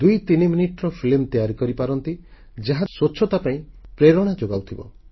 ଦୁଇ ତିନି ମିନିଟର ଫିଲ୍ମ ତିଆରି କରିପାରନ୍ତି ଯାହା ସ୍ୱଚ୍ଛତା ପାଇଁ ପ୍ରେରଣା ଯୋଗାଉଥିବ